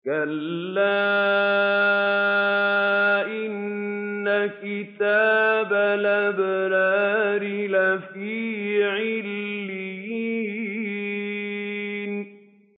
كَلَّا إِنَّ كِتَابَ الْأَبْرَارِ لَفِي عِلِّيِّينَ